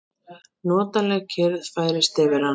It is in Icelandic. Notaleg kyrrð færist yfir hann.